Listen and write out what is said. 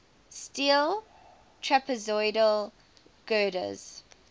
steel trapezoidal girders